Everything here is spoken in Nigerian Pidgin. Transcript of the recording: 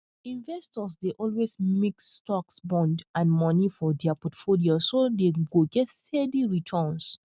investors dey always mix stocks bonds and money for dia portfolio so dem go get steady returns